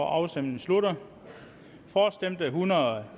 afstemningen slutter for stemte en hundrede og